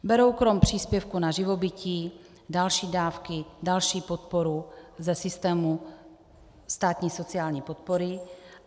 Berou krom příspěvku na živobytí další dávky, další podporu ze systému státní sociální podpory.